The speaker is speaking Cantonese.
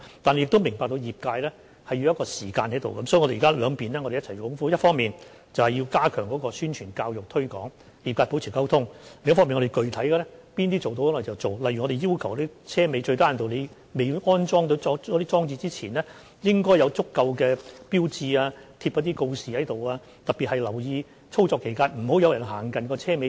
我們亦明白業界需要時間，所以我們現在會兩方面一起去做，一方面我們會加強宣傳、教育和推廣，與業界保持溝通；另一方面我們會展開具體可行的工作，例如我們要求貨車在未安裝車尾安全裝置之前，最低限度要張貼足夠的警告告示，並要在操作期間特別留意，不要讓人們走近貨車尾板。